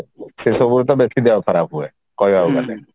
ସେଇସବୁରେ ତ ବେଶୀ ଦେହ ଖରାପ ହୁଏ କହିବାକୁ ଗଲେ